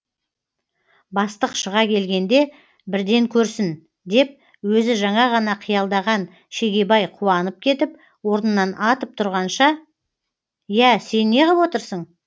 бастық шыға келгенде бірден көрсін деп өзі жаңа ғана қиялдаған шегебай қуанып кетіп орнынан атып тұрғанша иә сен неғып отырсың